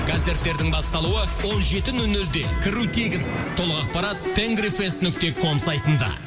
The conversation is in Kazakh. концерттердің басталуы он жеті нөл нөлде кіру тегін толық ақпарат тенргифест нүкте ком сайтында